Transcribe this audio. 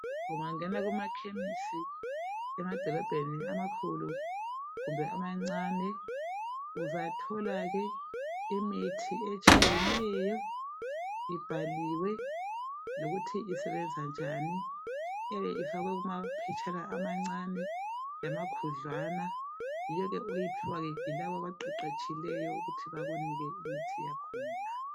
Ungangena kuma chemis emadolobheni amakhulu kumbe amancane uzatholake imithi etshiyeneyo ibhaliwe lokuthi usebenza njani iyabe ifakwe kumaphetshana amancane lamakhudlwana yiwo ke oyiphiwayo yilaba abaqeqetshileyo ukuthi bakunike imithi yakhona.